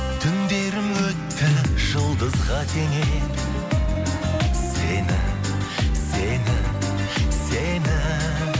түндерің өтті жұлдызға теңеп сені сені сені